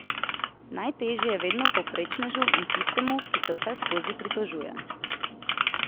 Najtežje je vedno povprečnežu in tistemu, ki se vseskozi pritožuje.